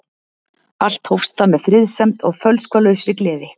Allt hófst það með friðsemd og fölskvalausri gleði.